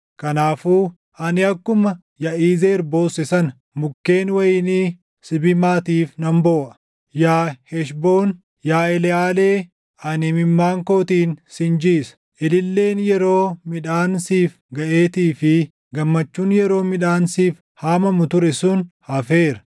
Kanaafuu ani akkuma Yaʼizeer boosse sana, mukkeen wayinii Sibimaatiif nan booʼa. Yaa Heshboon, yaa Eleʼaalee, ani imimmaan kootiin sin jiisa! Ililleen yeroo midhaan siif gaʼeetii fi gammachuun yeroo midhaan siif // haamamu ture sun hafeera.